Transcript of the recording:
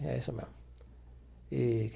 É isso mesmo eee.